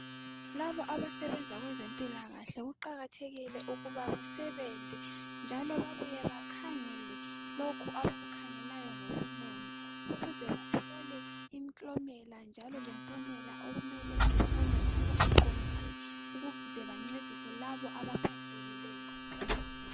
Labo abasebenza kwezempilakahle kuqakathekile ukuba basebenza njalo babuye bakhangele lokhu abakukhangelayo ngobunono ukuze bathole imiklomela njalo lempumela okumele itholwe njalo iqondile ukuze bancedise labo abaphethekileyo.